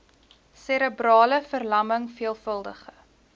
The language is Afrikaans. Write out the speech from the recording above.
serebrale verlamming veelvuldige